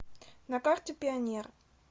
на карте пионер